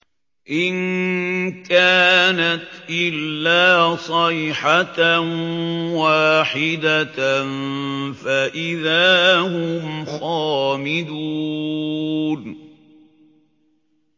إِن كَانَتْ إِلَّا صَيْحَةً وَاحِدَةً فَإِذَا هُمْ خَامِدُونَ